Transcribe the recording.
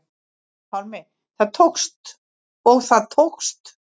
Pálmi: Og það tókst?